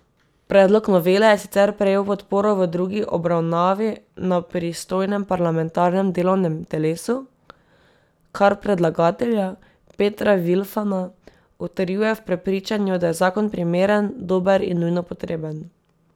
Predlog novele je sicer prejel podporo v drugi obravnavi na pristojnem parlamentarnem delovnem telesu, kar predlagatelja Petra Vilfana utrjuje v prepričanju, da je zakon primeren, dober in nujno potreben.